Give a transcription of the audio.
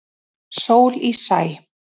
Sól í sæ.